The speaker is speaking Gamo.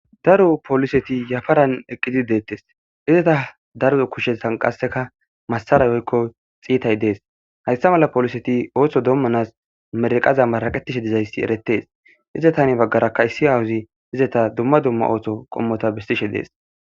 daro poliseti yafaran eqqidid deettes izeta daro kushe tanqaseka massara woykko xiitay dees hayssa mala poliseti ooththo dommanas merqaza maaqetishe dizayssi eretees izetane baggarakka issi awuzi izeta dumma dumma oothto qommota bistishe dees